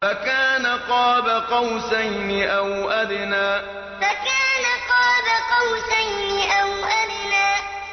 فَكَانَ قَابَ قَوْسَيْنِ أَوْ أَدْنَىٰ فَكَانَ قَابَ قَوْسَيْنِ أَوْ أَدْنَىٰ